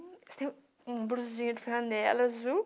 Você tem um bluseiro flanela azul.